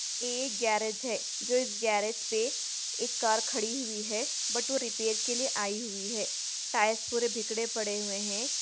एक गैरेज है जो इस गैरेज पे एक कार खड़ी हुई है बट वो रिपेयर के लिए आई हुई है टायर्स पुरे बिगड़े पड़े हुए है।